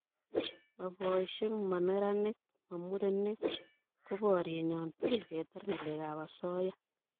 ma boishek, mo neranik, mo murenik ko bariennyo tugul ketar ngalek ab asoya